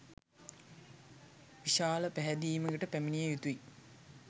විශාල පැහැදීමකට පැමිණිය යුතුයි.